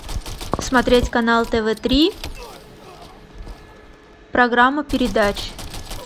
смотреть канал тв три программа передач